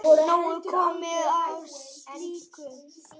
Nóg komið af slíku.